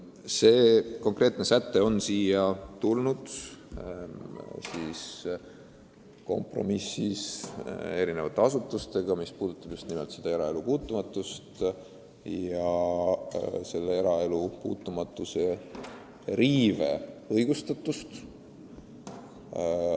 See konkreetne säte on sündinud kompromissis erinevate asutustega ja silmas on peetud just nimelt eraelu puutumatust.